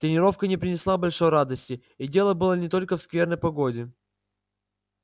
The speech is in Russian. тренировка не принесла большой радости и дело было не только в скверной погоде